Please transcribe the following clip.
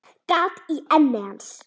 Gat í enni hans.